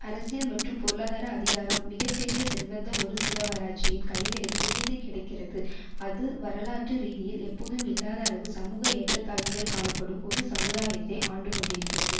அரசியல் மற்றும் பொருளாதார அதிகாரம் மிக பெரிய செல்வந்த ஒருசிலவராட்சியின் கைகளில் குவிந்து கிடக்கிறது அது வரலாற்று ரீதியில் எப்போதும் இல்லாத அளவு சமூக ஏற்றத்தாழ்வுகள் காணப்படும் ஒரு சமுதாயத்தை ஆண்டு கொண்டிருக்கிறது